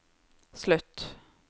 slutt